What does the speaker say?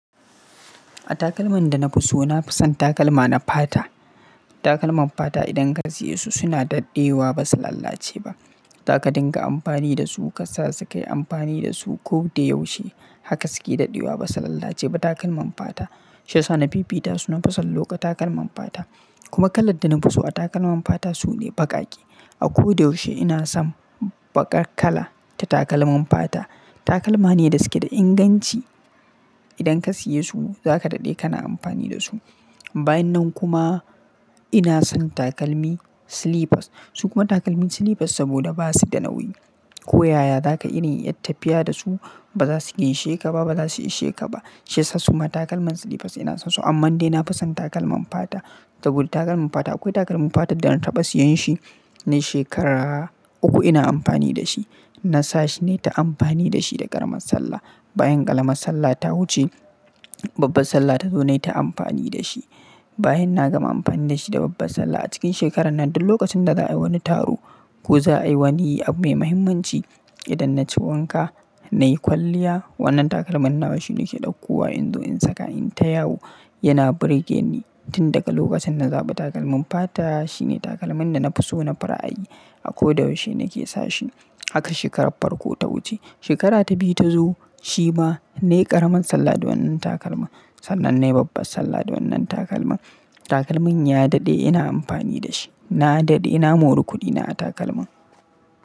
A takalman da na fi so, na fi son takalma na fata. Takalman fata idan ka siye su suna daɗewa ba su lalace ba. Zaka dinga amfani da su ka sa su kai amfani da su ko da yaushe. Haka su ke daɗewa ba su lalace ba takalman fata. Shi yasa na fifita su na fi son lokan takalman fata. Kuma kalar da na fi so a takalman fata su ne baƙaƙe. A ko da yaushe ina son baƙar kala ta takalman fata. Takalma ne da su ke da inganci. Idan ka siye su zaka daɗe kana amfani da su. Bayan nan kuma ina son takalmi slippers. Su kuma takalmin slippers saboda ba su da nauyi. Ko yaya zaka irin yi tafiya da su ba za su isheka ba, ba za su isheka ba. Shi yasa suma takalman slippers ina son su amman dai na fi son takalman fata. Saboda takalman fata akwai takalmin fata da na taɓa siyan shi nayi shekara uku ina amfani da shi. Na sa shi nayi ta amfani da shi da ƙaramar sallah. Bayan ƙaramar sallah ta wuce babbar sallah ta zo nayi ta amfani da shi. Bayan na gama amfani da shi da babbar sallah a cikin shekarar nan duk lokacin da za'a yi wani taro ko za'a yi wani abu mai muhimmanci idan na ci wanka nayi kwalliya wannan takalman nawa shi ne ke ɗaukuwa. Inzo in saka in ta yawo yana burge ni. Tin daga lokacin na zaɓi takalmin fata shi ne takalmin da na fi so na fi ra'ayi. A ko da yaushe na ke sa shi. Haka shekarar farko ta wuce. Shekara ta biyu ta zo shi ma na yi ƙaramar sallah da wannan takalma. Sannan nayi babbar sallah da wannan takalma. Takalmin ya daɗe ina amfani da shi. Na daɗe ina moran kuɗina a takalman.